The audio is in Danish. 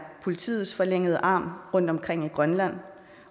politiets forlængede arm rundt omkring i grønland